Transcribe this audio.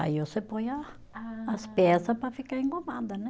Aí você põe a as peça para ficar engomada, né?